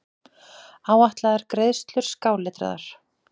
Áætlaðar greiðslur skáletraðar.